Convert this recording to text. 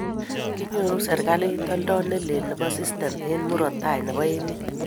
kiinyoru serikalit oldo ne lel nebo sistime eng' murot tai nebo emet